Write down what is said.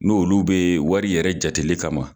N' olu beyi wari yɛrɛ jateli kama ma.